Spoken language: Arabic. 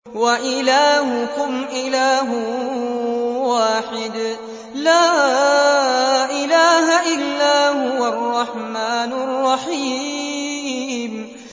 وَإِلَٰهُكُمْ إِلَٰهٌ وَاحِدٌ ۖ لَّا إِلَٰهَ إِلَّا هُوَ الرَّحْمَٰنُ الرَّحِيمُ